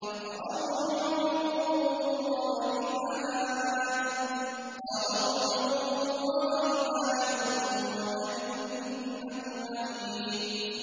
فَرَوْحٌ وَرَيْحَانٌ وَجَنَّتُ نَعِيمٍ